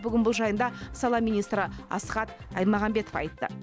бүгін бұл жайында сала министрі асхат аймағамбетов айтты